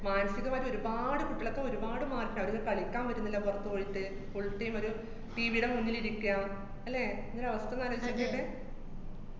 മാനസികമായിട്ട് ഒരുപാട് കുട്ടികളൊക്കെ ഒരുപാട് മാറ്റം. അവര്ക്ക് കളിക്കാന്‍ പറ്റുന്നില്ല പുറത്ത് പോയിട്ട്, full time ഒരു TV ടെ മുന്നിലിരിക്കാം, അല്ലേ, അങ്ങനൊരു അവസ്ഥ ഒന്നാലോചിച്ച് നോക്കിക്കേ